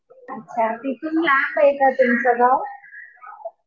अच्छा. तिथून आत आहे का तुमचं गाव?